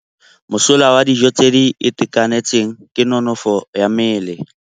Mosola wa dijô tse di itekanetseng ke nonôfô ya mmele.